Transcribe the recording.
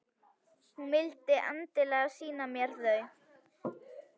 Hún vildi endilega sýna mér þau.